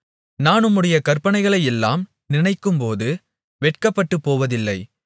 நான் உம்முடைய கற்பனைகளையெல்லாம் நினைக்கும்போது வெட்கப்பட்டுப்போவதில்லை